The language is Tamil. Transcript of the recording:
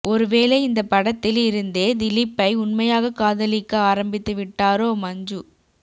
ஒருவேளை இந்த படத்தில் இருந்தே திலீப்பை உண்மையாக காதலிக்க ஆரமித்து விட்டாரோ மஞ்சு